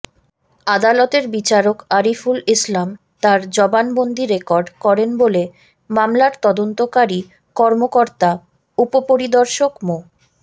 আদালতের বিচারক আরিফুল ইসলাম তার জবানবন্দি রেকর্ড করেন বলে মামলার তদন্তকারী কর্মকর্তা উপপরিদর্শক মো